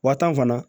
Wa tan fana